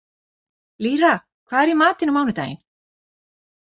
Lýra, hvað er í matinn á mánudaginn?